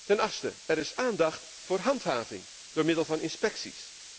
Ten achtste, er is aandacht voor handhaving door middel van inspecties.